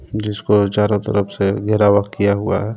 जिसको चारो तरफ से घेरावा किया हुआ हे.